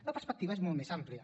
la perspectiva és molt més amplia